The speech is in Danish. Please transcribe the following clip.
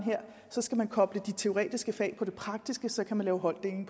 så skal man koble de teoretiske fag på det praktiske og så kan man lave holddeling